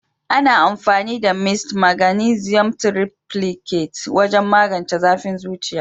Ana amfani da "mist maganisium triplicate" wajen magance zafin zuciya.